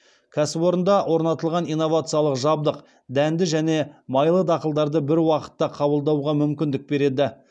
кәсіпорында орнатылған инновациялық жабдық дәнді және майлы дақылдарды бір уақытта қабылдауға мүмкіндік береді